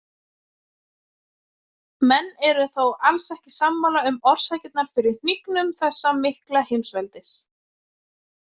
Menn eru þó alls ekki sammála um orsakirnar fyrir hnignun þessa mikla heimsveldis.